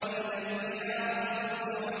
وَإِذَا الْبِحَارُ سُجِّرَتْ